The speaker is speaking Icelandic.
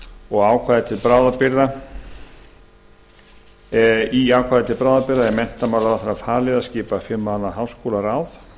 og í ákvæði til bráðabirgða er menntamálaráðherra falið að skipa fimm manna háskólaráð